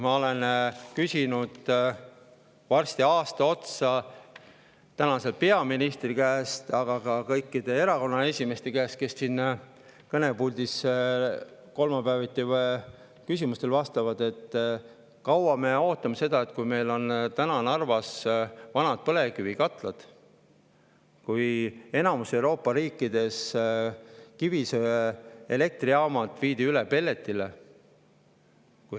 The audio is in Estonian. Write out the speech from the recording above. Ma olen küsinud varsti aasta otsa tänase peaministri käest, aga ka erakonnaesimeeste käest, kes siin kolmapäeviti küsimustele vastavad, et kaua me ootame seda, kui meil on Narvas vanad põlevkivikatlad ja kui enamikus Euroopa riikides viidi kivisöeelektrijaamad üle pelletile.